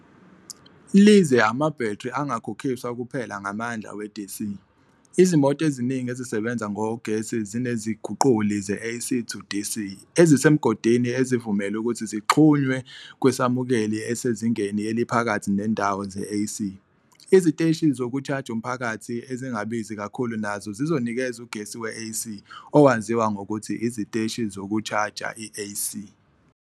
LYize amabhethri angakhokhiswa kuphela ngamandla we- DC, izimoto eziningi ezisebenza ngogesi zineziguquli ze-AC-to-DC ezisemgodini ezivumela ukuthi zixhunywe kwisamukeli esezingeni eliphakathi nendawo se-AC. Iziteshi zokushaja umphakathi ezingabizi kakhulu nazo zizonikeza ugesi we-AC, owaziwa ngokuthi "iziteshi zokushaja i-AC".